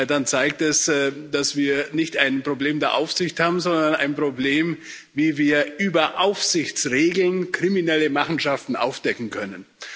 dann zeigt das, dass wir nicht ein Problem der Aufsicht haben, sondern ein Problem, wie wir über Aufsichtsregeln kriminelle Machenschaften aufdecken können.